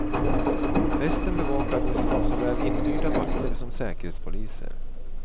Festen bevakades av såväl inhyrda vakter som säkerhetspoliser.